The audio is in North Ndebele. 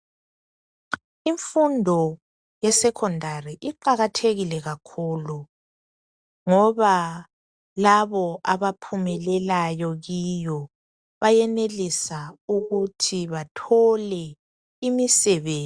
Imfundo yeSekhondari iqakathekile kakhulu ngoba labo abaphumelelayo kuyo bayenelisa ukuthi bethole imisebenzi